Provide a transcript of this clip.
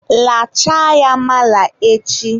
lachaa ya mala echi!